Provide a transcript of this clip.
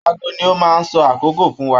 Aago ni o maá ń sọ àkókò fún wa.